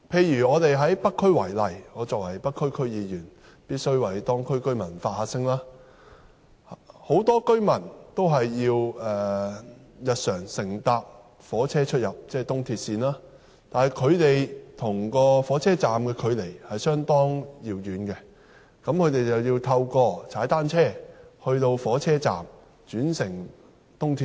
以北區為例——我作為北區區議員，必須為當區居民發聲——很多居民日常都需要乘坐火車、在東鐵線的車站出入，但他們的住所與火車站的距離相當遙遠，故此，要踏單車前往火車站，再轉乘東鐵線。